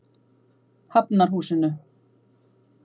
Hafnarhúsinu